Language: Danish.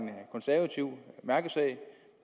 konservativ mærkesag